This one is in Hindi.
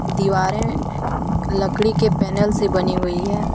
दीवारें लकड़ी के पैनल से बनी हुई है।